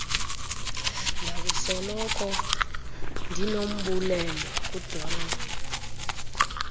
ndakusoloko ndinombulelo kudoreen